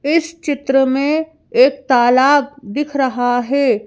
इस चित्र में एक तालाब दिख रहा है।